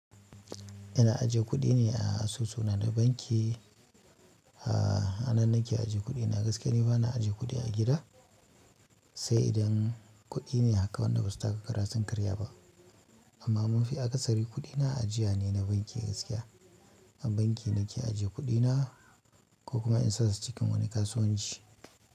Ina ajiye kuɗina a asusu na da banki. A, anan nake aje kudina gaskiya ni bana aje kudi a gida sai idan kuɗi ne haka wanda ba su taka kara sun karya ba. Amma mafi akasari kuɗina ajiya ne na banki gaskiya. A banki nake ajiye kuɗina ko kuma in saka su cikin wani kasuwanci.